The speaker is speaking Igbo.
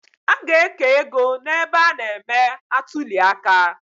A ga-eke ego n’ebe a na –eme atuliaka